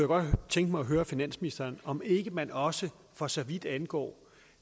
godt tænke mig at høre finansministeren om ikke man også for så vidt angår